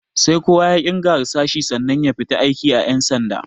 Sai kowa ya ƙirga harsashi sannan ya fita aiki a cikin ƴan sanda.